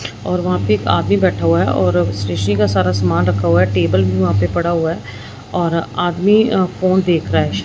और वहां पे एक आदमी बैठा हुआ है और स्टेशनरी का सारा सामान रखा हुआ है टेबल भी वहां पे पड़ा हुआ है और आदमी फोन देख रहा है शायद।